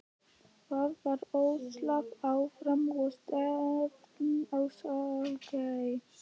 Það var öslað áfram og stefnt á Skógey.